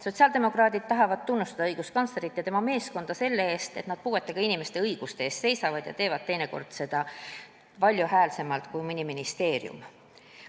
Sotsiaaldemokraadid tahavad tunnustada õiguskantslerit ja tema meeskonda selle eest, et nad puuetega inimeste õiguste eest seisavad ja teevad teinekord seda valjuhäälsemalt kui mõni ministeerium.